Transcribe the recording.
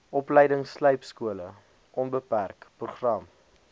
opleidingslypskole onbeperk program